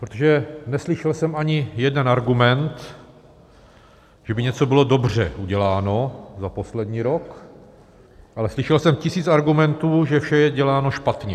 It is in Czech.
Protože neslyšel jsem ani jeden argument, že by něco bylo dobře uděláno za poslední rok, ale slyšel jsem tisíc argumentů, že vše je děláno špatně.